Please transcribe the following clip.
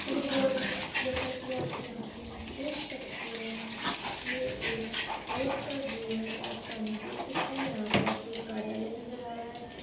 Hello guys जैसा कि आप यहाँ पे देख सकते हैं ये एक रोड का व्यू है एंड आप सामने देख सकते हैं यहां पे आप को एक कार्यालय नज़र आ रहा है।